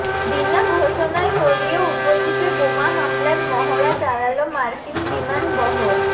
বিনা ঘোষণায় কোরিয় উপদ্বীপে বোমা হামলার মহড়া চালাল মার্কিন বিমান বহর